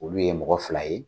Olu ye mɔgɔ fila ye.